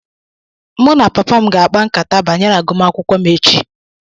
Mụ na Papa m ga-ákpá nkata banyere agụmakwụkwọ m echi.